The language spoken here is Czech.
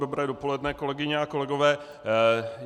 Dobré dopoledne, kolegyně a kolegové.